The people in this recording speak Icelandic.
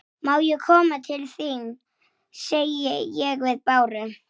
Sem hún sá mikið eftir.